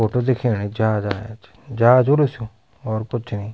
फोटु दिखेणि जहाजा एंच जहाज हाेलू स्यु और कुछ नि।